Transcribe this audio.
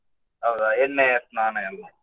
ಹೌದಾ ಎಣ್ಣೆ ಸ್ನಾನ ಎಲ್ಲಾ.